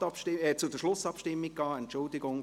Somit können wir jetzt zur Schlussabstimmung übergehen.